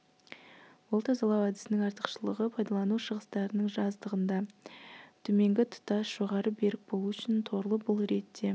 бұл тазалау әдісінің артықшылығы пайдалану шығыстарының аздығында төменгі тұтас жоғары берік болу үшін торлы бұл ретте